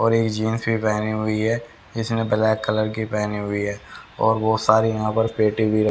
और ये जींस भी पहनी हुई है इसमें ब्लैक कलर की पहनी हुई है और वो सारी यहां पर पेटी भी--